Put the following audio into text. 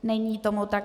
Není tomu tak.